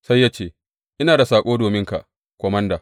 Sai ya ce, Ina da saƙo dominka komanda.